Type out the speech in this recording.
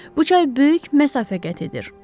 Bu çay böyük məsafə qət edir.